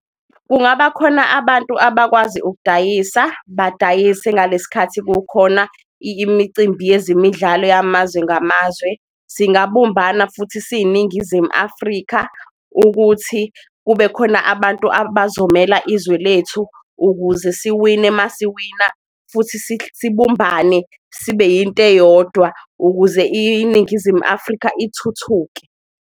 Kungaba khona abantu abakwazi ukudayisa badayise ngaleskhathi kukhona imicimbi yezemidlalo yamazwe ngamazwe, singabumbana futhi siyiNingizimu Afrika. Ukuthi kube khona abantu abazomela izwe lethu ukuze siwine masiwina futhi sibumbane sibe yinto eyodwa ukuze iNingizimu Afrika ithuthuke.